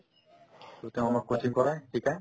to তেওঁ আমাক coaching কৰাই শিকাই